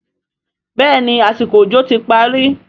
béèni àsìkò òjò ti parí.